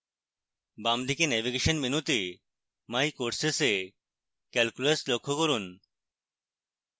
বামদিকে নেভিগেশন মেনুতে my courses এ calculus লক্ষ্য করুন